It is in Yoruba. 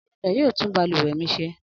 Anulẹ̀ yóò tún balùwẹ̀ mi ṣe.